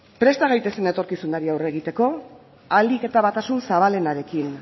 presta gaitezen etorkizunari aurre egiteko ahalik eta batasun zabalenarekin